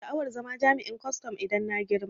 Ina sha'awar zama jami'in kwaston idan na girma